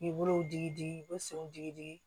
Olu digi digi u bɛ senw jigi digi